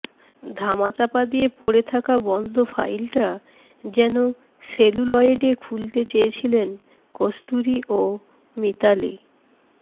ধামাচাপা দিয়ে পড়ে থাকা বন্ধ ফাইলটা যেন সেলুলয়েডে খুলতে চেয়েছিলেন কস্তুরী ও মিতালী